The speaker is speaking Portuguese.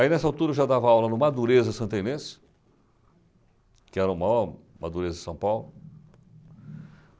Aí, nessa altura, eu já dava aula no Madureza Santa Inês, que era o maior, Madureza de São Paulo.